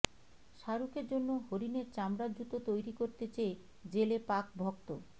শাহরুখের জন্য হরিণের চামড়ার জুতো তৈরি করতে চেয়ে জেলে পাক ভক্ত